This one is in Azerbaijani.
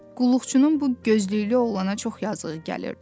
Qulluqçunun bu gözlüklü oğlana çox yazığı gəlirdi.